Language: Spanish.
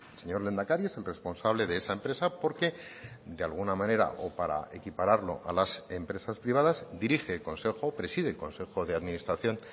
señor lehendakari es el responsable de esa empresa porque de alguna manera o para equipararlo a las empresas privadas dirige el consejo preside el consejo de administración